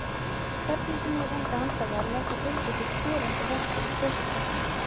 Hvernig sem ég reyndi að anda varlega þá fylgdi því skerandi verkur í brjóstkassanum.